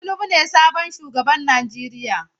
Tinubu ne sabon shugaban Najeriya.